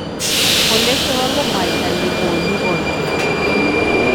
Cholestrol ko mwaita nekonu koito